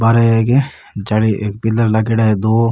बार एक जाली एक पिलर लागेड़ा है दो।